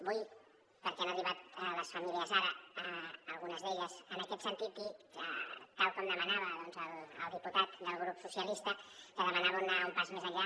vull perquè han arribat les famílies ara algunes d’elles en aquest sentit dir que tal com demanava el diputat del grup socialistes que demanava anar un pas més enllà